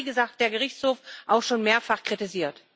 Das hat, wie gesagt, der Gerichtshof auch schon mehrfach kritisiert.